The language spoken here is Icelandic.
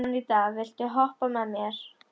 Anita, viltu hoppa með mér?